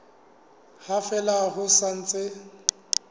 ha fela ho sa ntse